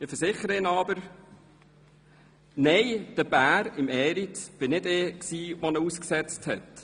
Ich versichere Ihnen aber, dass nicht ich es war, der den Bären im Eriz ausgesetzt hat.